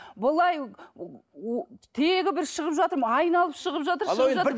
былай тегі бір шығып жатыр айналып шығып жатыр